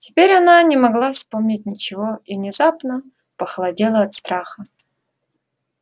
теперь она не могла вспомнить ничего и внезапно похолодела от страха